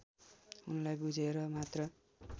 उनलाई बुझेर मात्र